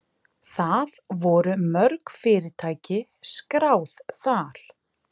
Það voru mörg fyrirtæki skráð þar